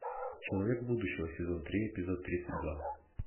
человек будущего сезон три эпизод тридцать два